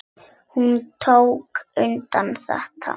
Hún tók undir þetta.